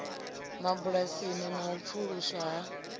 mabulasini na u pfuluswa ha